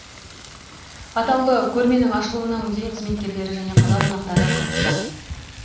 атаулы көрменің ашылуына музей қызметкерлері және қала қонақтары қатысты